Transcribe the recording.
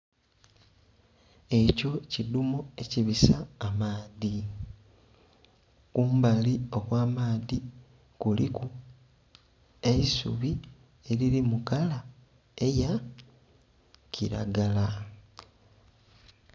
Ekyo kidhumo ekibisa amaadhi kumbali okw'amaadhi kuliku eisubi eriri mukala eya kiragala.